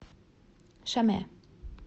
шаме